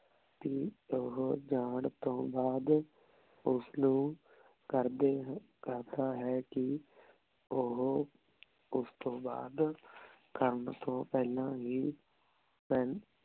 ਓਹੋ ਜਾਂ ਤੋਂ ਬਾਅਦ ਓਸਨੂ ਕਰਦੇ ਕਰਦਾ ਹੈ ਕੀ ਓਹੋ ਓਸ ਤੋਂ ਬਾਅਦ ਕਰਨ ਤੋਂ ਪੇਹ੍ਲਾਂ ਹੀ